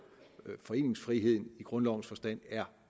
foreningsfriheden i grundlovens forstand er